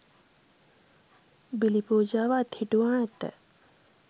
බිලි පූජාව අත්හිටුවා ඇත.